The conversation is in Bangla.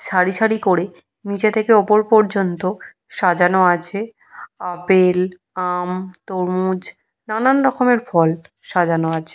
সারি সারি করে নিচে থেকে উপর পর্যন্ত সাজানো আছে আপেল আম তরমুজ নানান রকমের ফল। সাজানো আছে।